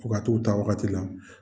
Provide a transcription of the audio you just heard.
Fo ka t'u taa waagati klan